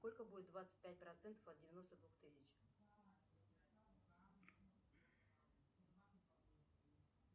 сколько будет двадцать пять процентов от девяносто двух тысяч